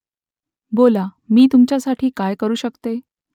बोला मी तुमच्यासाठी काय करू शकतो ?